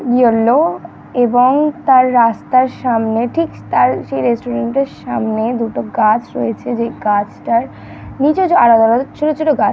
yellow এবং তার রাস্তা আর সামনে ঠিক তার সেই রেস্ট্রুরেন্ট - এর সামনে দুটো গাছ রয়েছে যেই গাছ টার নিজ আলাদা আলাদা ছোট ছোট গাছ--